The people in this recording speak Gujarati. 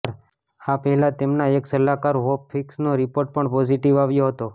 આ પહેલા તેમના એક સલાહકાર હોપ હિક્સ નો રીપોર્ટ પણ પોઝીટીવ આવ્યો હતો